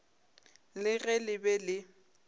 le ge le be le